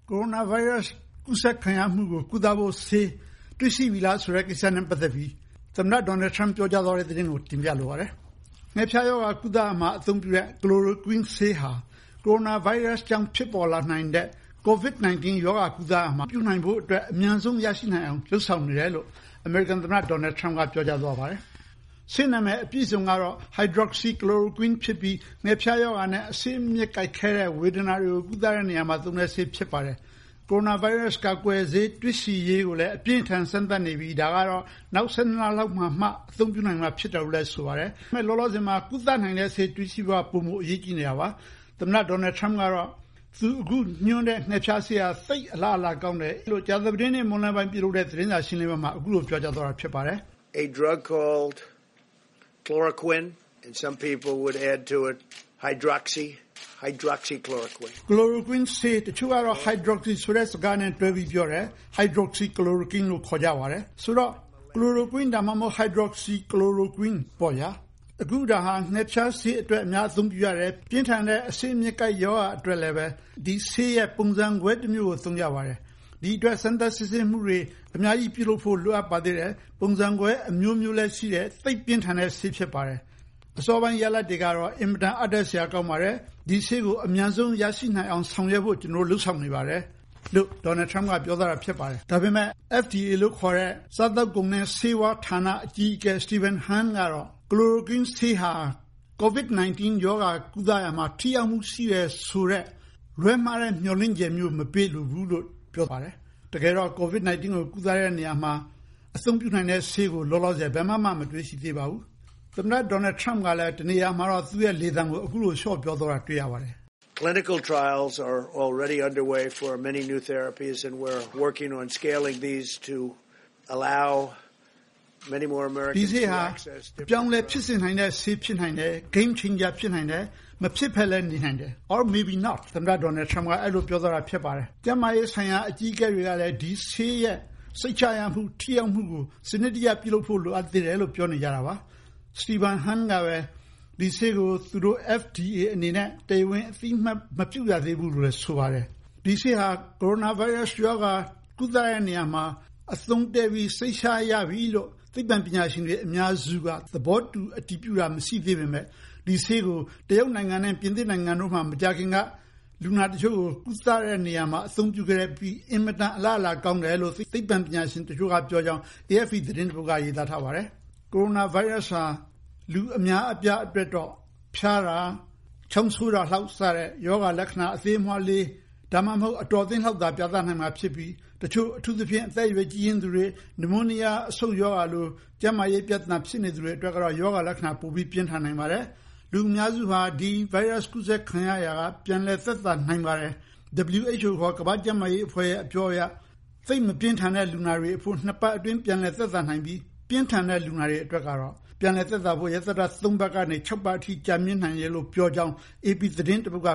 ကိုရိုနာဗိုင်းရပ်စ် ကူးစက်ခံရမှုကို ကုသဖို့ ဆေးတွေ့ရှိပြီလားဆိုတဲ့ ကိစ္စနဲ့ ပတ်သက်ပြီး သမ္မတ Donald Trump ပြောကြားသွားတဲ့သတင်းကို တင်ပြလိုပါတယ်။ ငှက်ဖျားရောဂါကုသရာမှာ အသုံးပြုတဲ့ Chloroquine ဆေးဟာ ကိုရိုနာဗိုင်းရပ်စ် ကြောင့် ဖြစ်ပေါ်လာနိုင်တဲ့ Covid-19 ရောဂါကုသရာမှာ အသုံးပြုနိုင်ဖို့အတွက် အမြန်ဆုံးရရှိနိုင်အောင် လုပ်ဆောင်နေတယ်လို့ အမေရိကန် သမ္မတ Donald Trump ပြောကြားသွားပါတယ်။ ဆေးနာမည် အပြည့်အစုံ Hydroxy Chloroquine ဖြစ်ပြီး ငှက်ဖျားရောဂါနဲ့ အဆစ်အမြစ်ကိုက်ခဲတဲ့ ဝေဒနာ တွေကိုကုသတဲ့နေရာမှာ သုံးတဲ့ဆေးဖြစ်ပါတယ်။ ကိုရိုနာဗိုင်းရပ်စ် ကာကွယ်ဆေး တွေ့ရှိရေးကိုလည်း အပြင်းအထန်စမ်းသပ်နေပြီး ဒါကတော့ နောက် ၁၂ လ လောက်မှာမှ အသုံးပြုနိုင်မှာ ဖြစ်တယ်လို့လဲ ဆိုပါတယ်။ ဒါပေမယ့် အခုလောလောဆည်မှာ ကုသနိုင်ဖို့ ဆေး တွေ့ရှိဖို့က ပိုမိုအရေးကြီးနေတာပါ။ သမ္မတ Donald Trump ကတော့ သူအခု ညွှန်းတဲ့ ငှက်ဖျားဆေးက သိပ်အလားအလာကောင်းတယ်လို့ ကြာသပတေးနေ့ မွန်းလွဲပိုင်း ပြုလုပ်တဲ့ သတင်းစာရှင်းလင်းပွဲမှာ အခုလို ပြောကြားသွားတာဖြစ်ပါတယ်။ “chloroquine ဆေး တချို့ကတော့ hydroxy chloroquine လို့ခေါ်ပါတယ်။ ဆိုတော့ chloroquine ဒါမှမဟုတ် hydroxy chloroquine ပေါ့ဗျာ။ အခုဒါဟာ ငှက်ဖျားဆေးအတွက်အသုံးပြုတယ်။ ပြင်းထန်တဲ့ အဆစ်အမြစ်ကိုက် ရောဂါအတွက်လည်း ဒီဆေးရဲ့ ပုံစံကွဲတမျိုးကို သုံးကြပါတယ်။ ဒီအတွက် စမ်းသပ် စစ်ဆေးမှုတွေ အများကြီးပြုလုပ်ဖို့ လိုအပ်ပါသေးတယ်။ ပုံစံကွဲအမျိုးမျိုးလည်း ရှိတယ်။ သိပ်ပြင်းထန်တဲ့ ဆေးဖြစ်ပါတယ်။ အစောပိုင်းရလဒ်တွေကတော့ အင်မတန် အားတက်စရာကောင်းပါတယ်။ ဒီဆေးကို အမြန်ဆုံးရရှိနိုင်အောင် ဆောင်ရွက်ဖို့ ကျနော်တို့ လုပ်ဆောင်နေပါတယ်။” ဒါပေမယ့် FDA လို့ခေါ်တဲ့ စားသောက်ကုန်နဲ့ ဆေးဝါးဌာန အကြီးအကဲ Stephen Hahn ကတော့ chloroquine ဆေးဟာ Covid-19 ရောဂါကုသရာမှာ ထိရောက်မှု ရှိတယ်ဆိုတဲ့ လွဲမှားတဲ့ မျှော်လင့်ချက်မျိုး မပေးလိုဘူးလို့ ပြောပါတယ်။ တကယ်တော့ Covid-19 ရောဂါကုသရာမှာ အသုံးပြုနိုင်တဲ့ ဆေးကို လောလောဆယ် ဘယ်မှာမှ မတွေ့ရှိသေးပါဘူး။ သမ္မတ Donald Trump ကလည်း တနေရာမှာတော့ သူ့လေသံ လျှော့ပြောသွားတာ တွေ့ရပါတယ်။ “ဒီဆေးဟာ အပြောင်းအလဲ ဖြစ်စေနိုင်တဲ့ ဆေးဖြစ်နိုင်တယ်။ game changer ဖြစ်နိုင်တယ် မဖြစ်ပဲနဲ့လည်း နေနိုင်တယ်။” ကျန်းမာရေးဆိုင်ရာ အကြီးအကဲတွေကလည်း ဒီဆေးရဲ့ စိတ်ချရမှု ထိရောက်မှုကို စနစ်တကျ ပြုလုပ်ဖို့ လိုအပ်သေးတယ်လို့ ပြောနေတာပါ။ Stephen Hahn ကတော့ FDA အနေနဲ့ တရားဝင်အသိအမှတ် မပြုရသေးဘူးလို့ ဆိုပါတယ်။ ဒီဆေးဟာ ကိုရိုနာဗိုင်းရပ်စ် ရောဂါ ကုသတဲ့နေရာမှာ အသုံးတည့်ပြီး စိတ်ချရပြီ လို့ သိပ္ပံပညာရှင်အများစုက သဘောတူ အတည်ပြုတာ မရှိသေးပေမယ့် ဒီဆေးကို တရုတ်နဲ့ ပြင်သစ်မှာ မကြာခင်က လူနာတချို့ကို ကုသတဲ့နေရာမှာ အသုံးပြုခဲ့ပြီး အင်မတန် အလားအလာ ကောင်းတယ်လို့ သိပ္ပံပညာရှင် တချို့က ပြောကြောင်း AFP သတင်း တပုဒ်က ရေးသားထားပါတယ်။ ကိုရိုနာဗိုင်းရပ်စ်ဟာ လူအများအပြားအတွက်တော့ ဖျားတာ ချောင်းဆိုးတာ စတဲ့ ရောဂါလက္ခဏာ အသေးအမွှားလေး ဒါမှမဟုတ် အတော်အသင့်လောက်သာ ပြသနိုင်တာဖြစ်ပြီး တချို့ အထူးသဖြင့် အသက်အရွယ် ကြီးရင့်သူတွေ နမိုးနီးယား အဆုတ်ရောဂါလို ကျန်းမာရေးပြဿနာ ဖြစ်တဲ့သူတွေအတွက်ကတော့ ရောဂါလက္ခဏာ ပိုပြင်းထန်နိုင်ပါတယ်။ လူအများစုဟာ ဗိုင်းရပ်စ် ကူးစက်ခံရတာကနေ ပြန်လည်သက်သာနိုင်ပါတယ်။ WHO ခေါ် ကမ္ဘာ့ကျန်းမာရေးအဖွဲ့ အပြောအရ သိပ်မပြင်းထန်တဲ့ လူနာတွေအဖို့ ၂ ပတ်အတွင်း ပြန်လည်သက်သာနိုင်ပြီး ပြင်းထန်တဲ့ လူနာတွေအတွက်ကတော့ ပြန်လည်သက်သာဖို့ ၃ ပတ်ကနေ ၆ ပတ်အထိ ကြာမြင့်နိုင်တယ်လို့ ပြောကြောင်း AP သတင်းတပုဒ်က